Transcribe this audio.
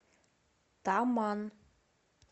таман